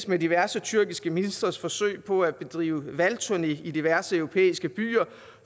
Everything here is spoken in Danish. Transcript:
med diverse tyrkiske ministres forsøg på at bedrive valgturné i diverse europæiske byer